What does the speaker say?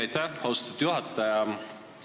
Aitäh, austatud juhataja!